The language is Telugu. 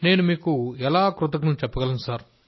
నేను మీకు ఎలా కృతజ్ఞతలు చెప్పగలను